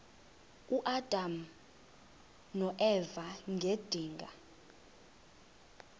uadam noeva ngedinga